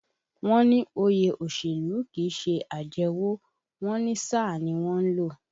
Wọ́n ní òye òṣèlú kìí ṣe àjẹwọ̀, wọ́n ní sáà ni wọ́n ń lò